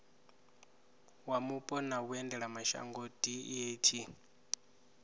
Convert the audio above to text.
wa mupo na vhuendelamashango deat